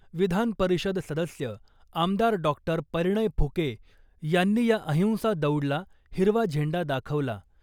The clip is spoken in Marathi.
विधान परिषद सदस्य आमदार डॉक्टर परिणय फुके यांनी या अहिंसा दौडला हिरवा झेंडा दाखवला .